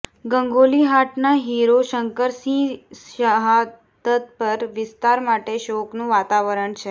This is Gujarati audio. ગંગોલીહાટના હીરો શંકરસિંહ શહાદત પર વિસ્તાર માટે શોકનું વાતાવરણ છે